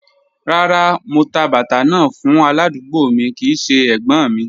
Rárá, mò tà bàtà náà fún aládùgbò mi kìí ṣẹ ẹ̀gbọ́́̀n mi.